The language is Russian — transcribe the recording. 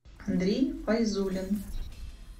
андрей файзулин